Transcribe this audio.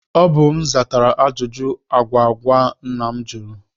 Ọ bụ m zatara ajụjụ agwụgwa nna m jụrụ